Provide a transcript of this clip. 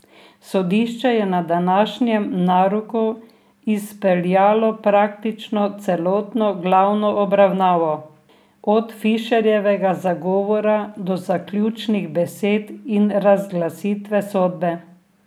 Sodišče je na današnjem naroku izpeljalo praktično celotno glavno obravnavo, od Fišerjevega zagovora do zaključnih besed in razglasitve sodbe.